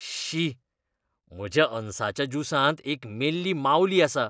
शी! म्हज्या अनसाच्या ज्युसांत एक मेल्ली मावली आसा.